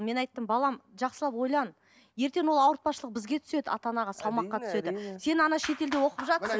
мен айттым балам жақсылап ойлан ертең ол ауыртпашылық бізге түседі ата анаға салмаққа түседі сен шетелде оқып жатырсың